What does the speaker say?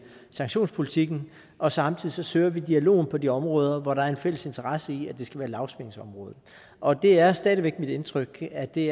sanktionspolitikken og samtidig søger vi dialogen på de områder hvor der er en fælles interesse i at det skal være et lavspændingsområde og det er stadig væk mit indtryk at det